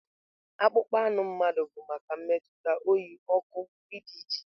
Akpụkpọ anụ mmadụ bụ maka mmetụta, oyi, ọkụ wdg.